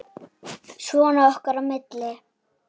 Svona okkar á milli.